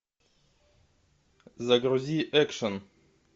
загрузи экшен